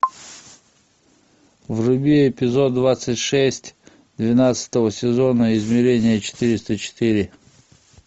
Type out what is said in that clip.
вруби эпизод двадцать шесть двенадцатого сезона измерение четыреста четыре